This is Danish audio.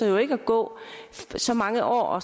jo ikke at gå så mange år